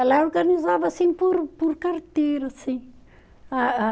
Ela organizava assim por por carteira, assim. Ah ah